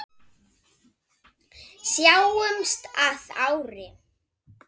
básúnar hann, hlýr í fasi.